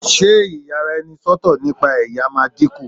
ṣe iyaraenisọtọ nipa ẹyà ma diku